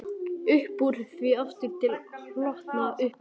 Uppúr því aftur til holtanna, upp til mín.